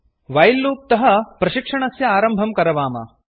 while loop तः प्रशिक्षणस्य आरम्भं करवाम